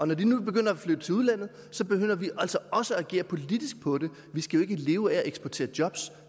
når de nu begynder at flytte til udlandet begynder vi altså også at agere politisk på det vi skal jo ikke leve af at eksportere jobs